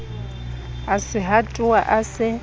a se hatoha a se